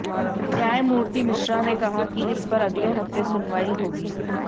न्यायमूर्ति मिश्रा ने कहा कि इस पर अगले हफ्ते सुनवाई होगी